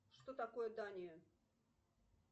что такое дания